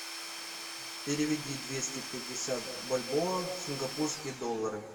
переведи двести пятьдесят бальбоа в сингапурские доллары